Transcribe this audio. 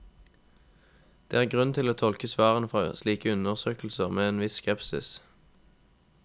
Det er grunn til å tolke svarene fra slike undersøkelser med en viss skepsis.